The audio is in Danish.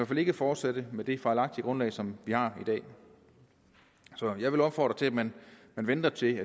fald ikke fortsætte med det fejlagtige grundlag som vi har i dag så jeg vil opfordre til at man venter til